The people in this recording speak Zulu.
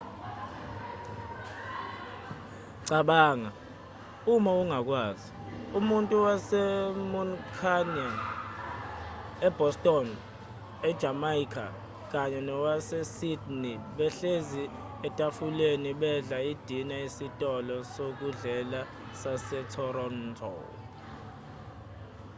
cabanga uma ungakwazi umuntu wase-muncunia e-boston e-jamaica kanye nowase-sydney behlezi etafuleni bedla idina esitolo sokudlela sase-toronto